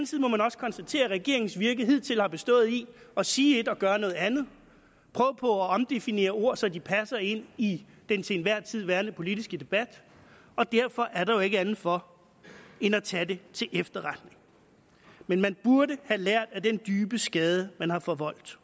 side må man også konstatere at regeringens virke hidtil har bestået i at sige et og gøre noget andet prøve på at omdefinere ord så de passer ind i den til enhver tid værende politiske debat og derfor er der jo ikke andet for end at tage det til efterretning men man burde have lært af den dybe skade man har forvoldt